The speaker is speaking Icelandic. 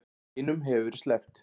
Hinum hefur verið sleppt